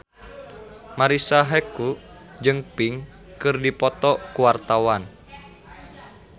Marisa Haque jeung Pink keur dipoto ku wartawan